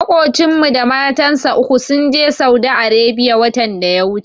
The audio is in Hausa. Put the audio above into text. Maƙocinmu da matansa uku sun je Saudi Arebiya watan da ya wuce.